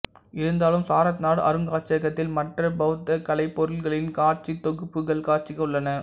இருந்தாலும் சாரநாத் அருங்காட்சியகத்தில் மற்ற பௌத்த கலைப் பொருட்களின் காட்சித்தொகுப்புகள் காட்சிக்கு உள்ளன